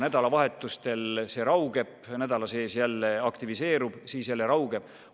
Nädalavahetustel see raugeb, nädala sees jälle aktiviseerub, siis jälle raugeb.